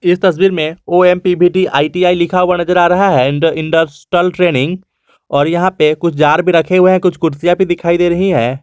यह तस्वीर में ओ_एम पी_वी_टी आई_टी_आई लिखा हुआ नजर आ रहा है और इंडस्ट्रियल ट्रेनिंग और यहां पे कुछ जार भी रखे हुए हैं कुछ कुर्सियां भी दिखाई दे रही हैं।